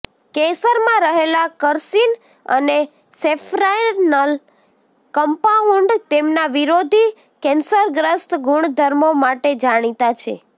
કેસરમાં રહેલા કર્સીન અને સેફ્રાનલ કંપાઉન્ડ તેમના વિરોધી કેન્સરગ્રસ્ત ગુણધર્મો માટે જાણીતા છે